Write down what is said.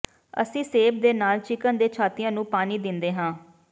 ਅਸੀਂ ਸੇਬ ਦੇ ਨਾਲ ਚਿਕਨ ਦੇ ਛਾਤੀਆਂ ਨੂੰ ਪਾਣੀ ਦਿੰਦੇ ਹਾਂ